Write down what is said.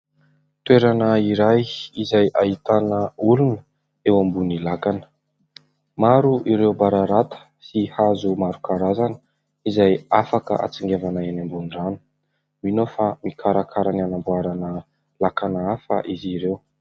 Toerana iray izay ahitana olona eo ambony lakana. Maro ireo bararata sy hazo maro karazana izay afaka hatsingevana any ambony rano. Mino aho fa mikarakara ny hanamboarana lakana hafa izy ireo.